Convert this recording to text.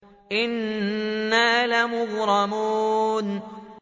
إِنَّا لَمُغْرَمُونَ